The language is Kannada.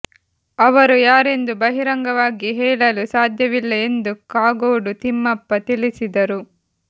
ಅವರು ಯಾರೆಂದು ಬಹಿರಂಗವಾಗಿ ಹೇಳಲು ಸಾಧ್ಯವಿಲ್ಲ ಎಂದು ಕಾಗೋಡು ತಿಮ್ಮಪ್ಪ ತಿಳಿಸಿದರು